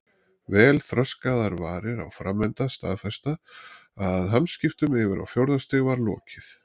Vel þroskaðar varir á framenda staðfestu að hamskiptum yfir á fjórða stig var lokið.